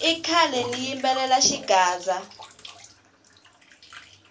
i khale ndzi yimbelela xigaza